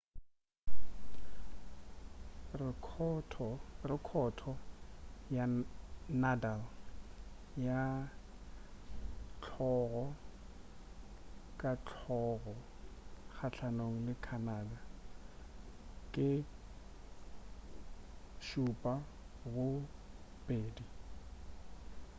rekhoto ya nadal ya hlogo ka hlogo kgahlanong le canada ke 7-2